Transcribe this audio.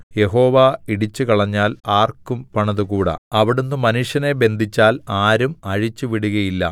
യഹോവ ഇടിച്ചുകളഞ്ഞാൽ ആർക്കും പണിതുകൂടാ അവിടുന്ന് മനുഷ്യനെ ബന്ധിച്ചാൽ ആരും അഴിച്ചുവിടുകയില്ല